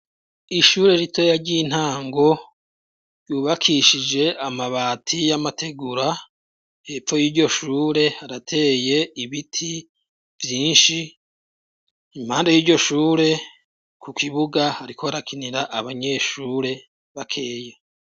Ishure rito yaryo intango yubakishije amabati y'amategura hepfo y'iryo shure harateye ibiti vyinshi impande y'iryo shure ku kibuga hariko harakinira abanyeshure bakeya.